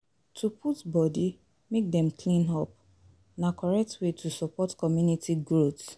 To put body make Dem clean up, na correct way to support community growth